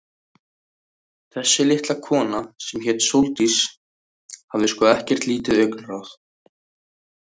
Þessi litla kona, sem hét Sóldís, hafði sko ekkert lítið augnaráð.